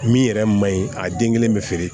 Min yɛrɛ man ɲi a den kelen bɛ feere